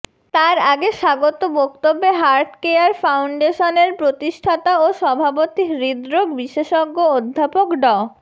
তার আগে স্বাগত বক্তব্যে হার্টকেয়ার ফাউন্ডেশনের প্রতিষ্ঠাতা ও সভাপতি হৃদরোগ বিশেষজ্ঞ অধ্যাপক ড